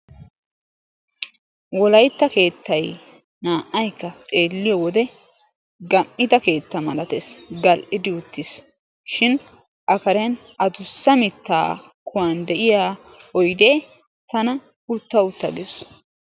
Wolaytta keettay naa"ayikka xeelliyo wode gam'ida keetta malatees. Gal'idi uttiis. Shin a Karen adussa mittaa kuwan de'iya oyidee tana utta utta gees.